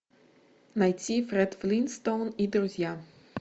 найти фред флинстоун и друзья